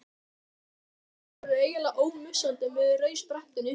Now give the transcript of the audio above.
Gott ráð: Nýjar kartöflur eru eiginlega ómissandi með rauðsprettunni.